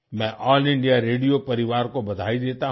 मैं all India radio परिवार को बधाई देता हूँ